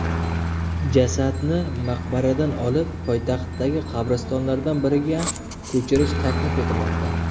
Jasadni maqbaradan olib, poytaxtdagi qabristonlardan biriga ko‘chirish taklif etilmoqda.